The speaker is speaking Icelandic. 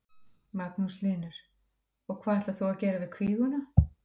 Magnús Hlynur: Og hvað ætlar þú að gera við kvíguna?